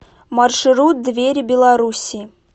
маршрут двери белоруссии